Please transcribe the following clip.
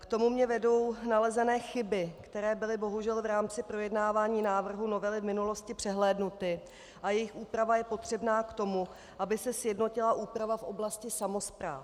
K tomu mě vedou nalezené chyby, které byly bohužel v rámci projednávání návrhu novely v minulosti přehlédnuty a jejichž úprava je potřebná k tomu, aby se sjednotila úprava v oblasti samospráv.